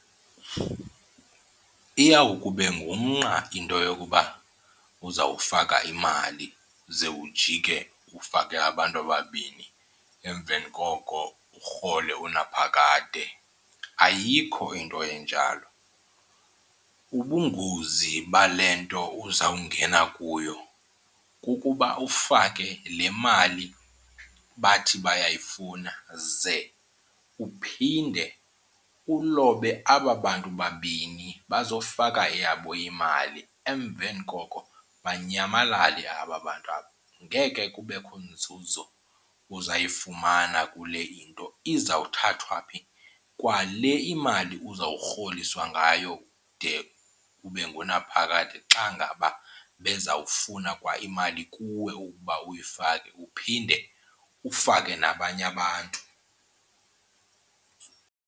Iyawukube ngumnqa into yokuba uzawufaka imali ze ujike ufake abantu ababini emveni koko urhole unaphakade, ayikho into enjalo. Ubungozi bale nto uzawungena kuyo kukuba ufake le mali bathi bayayifumana ze uphinde ulobe aba bantu babini bazofaka eyabo imali emveni koko banyamalale aba bantu aba. Ngeke kubekho nzuzo uzayifumana kule into. Izawuthathwa phi kwale imali uzawurholiswa ngayo de kube ngunaphakade xa ngaba bezawufuna kwa imali kuwe ukuba uyifake uphinde ufake nabanye abantu?